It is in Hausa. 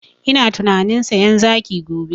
Ina tunanin sayan zaki gobe